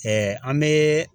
Ɛɛ an bee